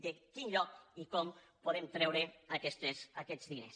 de quin lloc i com podem treure aquests diners